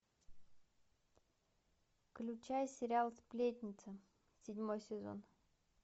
включай сериал сплетница седьмой сезон